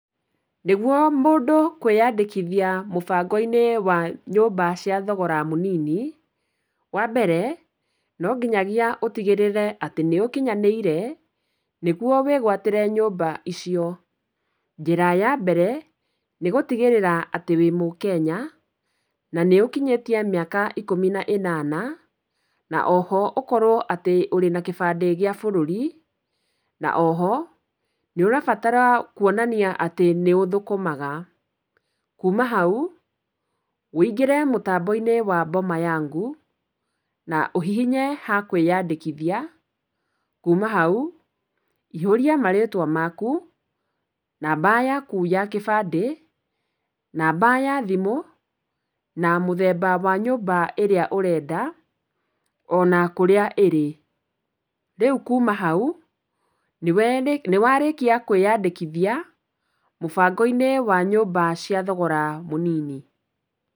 Nĩguo mũndũ kwĩyandĩkithia mũbango-inĩ wa nyũmba cia thogora mũnini, wa mbere, no nginyagiia ũtigĩrĩre atĩ nĩ ũkinyanĩire, nĩguo wĩgwatĩre nyũmba icio. Njĩra ya mbere, nĩ gũtigĩrĩra atĩ wĩ mũkenya, na nĩ ũkinyĩtie mĩaka ikũmi na ĩnana, na o ho ũkorwo atĩ ũrĩ na kĩbandĩ gĩa bũrũri, na o ho nĩ ũrabatara kuonania atĩ nĩ ũthũkũmaga. Kuma hau, ũingĩre mũtanbo-inĩ wa boma yangu, na ũhihinye ha kwĩyandĩkithia, kuma hau, ihũria marĩtwa maku, namba yaku ya kĩbandĩ, namba ya thimũ, na mũthemba wa nyũmba ĩrĩa ũrenda, o na kũrĩa ĩrĩ. Rĩu kuma hau nĩ warĩkia kwĩyandĩkithia mũbango-inĩ wa nyũmba cia thogora mũnini.